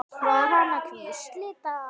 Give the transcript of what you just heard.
Var hann að hvísla þetta?